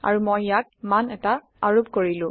আৰু মই ইয়াক মান এটা আৰোপ কৰিলো